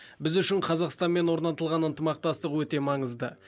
біз үшін қазақстанмен орнатылған ынтымақтастық өте маңызды